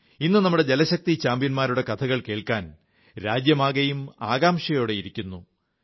ഇന്നു നമ്മുടെ ജലശക്തി ചാമ്പ്യന്മാരുടെ കഥകൾ കേൾക്കാൻ രാജ്യമാകെയും ആകാംക്ഷയോടെ ഇരിക്കുന്നു